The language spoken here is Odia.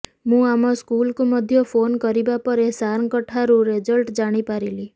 ମୁଁ ଆମ ସ୍କୁଲକୁ ମଧ୍ୟ ଫୋନ କରିବା ପରେ ସାରଙ୍କଠାରୁ ରେଜଲ୍ଟ ଜାଣି ପାରିଲି